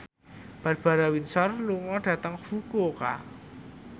Barbara Windsor lunga dhateng Fukuoka